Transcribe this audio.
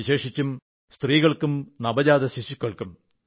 വിശേഷിച്ചും സ്ത്രീകൾക്കും നവജാത ശിശുക്കൾക്കും